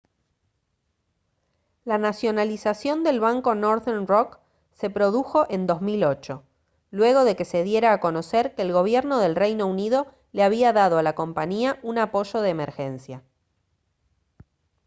la nacionalización del banco northern rock se produjo en 2008 luego de que se diera a conocer que el gobierno del reino unido le había dado a la compañía un apoyo de emergencia